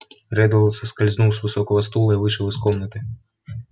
реддл соскользнул с высокого стула и вышел из комнаты